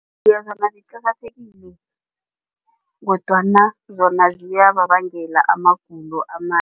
Iye, zona ziqakathekile kodwana zona ziyababangela amagulo